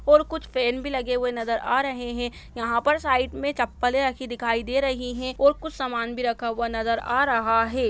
और कुछ पेन भी लगे हुए नजर आ रहे है यहाँ पर साइड में चप्पलें रखी दिखाई दे रही है और कुछ समान भी रखा हुआ नजर आ रहा है।